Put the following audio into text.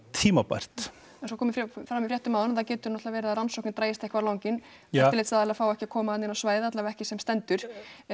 tímabært eins og kom fram í fréttum áðan þá getur náttúrulega verið að rannsóknin dragist eitthvað á langinn eftirlitsaðilar fá ekki að koma þarna inn á svæðið alla vega ekki sem stendur